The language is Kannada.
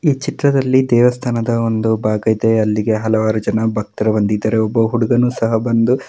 ಈ ಚಿತ್ರದಲ್ಲಿ ದೇವಸ್ಥಾನದ ಒಂದು ಭಾಗ ಇದೆ. ಅಲ್ಲಿಗೆ ಹಲವಾರು ಜನ ಭಕ್ತರು ಬಂದಿದ್ದರು ಒಬ್ಬ ಹುಡುಗನು ಸಹಾ ಬಂದು --